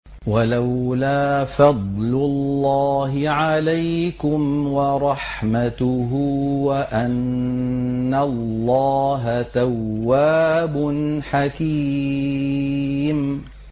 وَلَوْلَا فَضْلُ اللَّهِ عَلَيْكُمْ وَرَحْمَتُهُ وَأَنَّ اللَّهَ تَوَّابٌ حَكِيمٌ